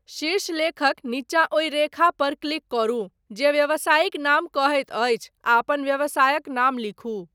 शीर्षलेखक नीचाँ ओहि रेखा पर क्लिक करू जे व्यावसायिक नाम कहैत अछि आ अपन व्यवसायक नाम लिखू।